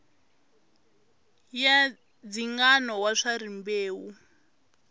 ya ndzingano wa swa rimbewu